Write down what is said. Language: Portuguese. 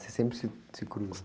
Vocês sempre se, se cruzam?